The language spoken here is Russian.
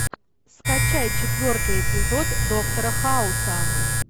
скачай четвертый эпизод доктора хауса